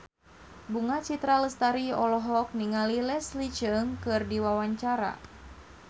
Bunga Citra Lestari olohok ningali Leslie Cheung keur diwawancara